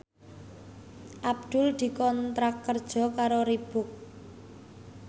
Abdul dikontrak kerja karo Reebook